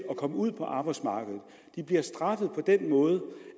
at komme ud på arbejdsmarkedet de bliver straffet på den måde